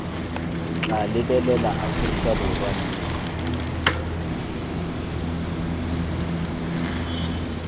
tla lebelela aforika borwa mme